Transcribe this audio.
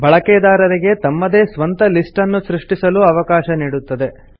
ಬಳಕೆದಾರರರಿಗೆ ತಮ್ಮದೇ ಸ್ವಂತ ಲಿಸ್ಟ್ ನ್ನು ಸೃಷ್ಟಿಸಲೂ ಅವಕಾಶ ನೀಡುತ್ತದೆ